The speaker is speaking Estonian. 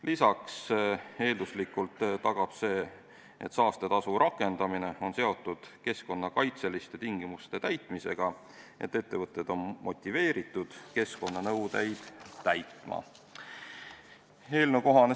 Lisaks, see, et saastetasu rakendamine on seotud keskkonnakaitseliste tingimuste täitmisega, tagab eelduslikult selle, et ettevõtted on motiveeritud keskkonnanõudeid täitma.